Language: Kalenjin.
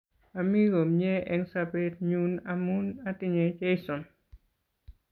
Ami Komnye eng' sobet nyu amun atinje Jeison